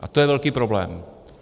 A to je velký problém.